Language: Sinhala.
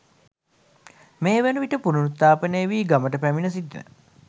මේවන විට පුනරුත්ථාපනය වී ගමට පැමිණ සිටින